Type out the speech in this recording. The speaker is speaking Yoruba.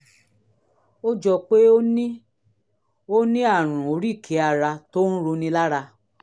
ó jọ pé ó ní ó ní àrùn oríkèé ara tó ń roni lára